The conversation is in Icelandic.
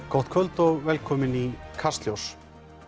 gott kvöld og velkomin í Kastljós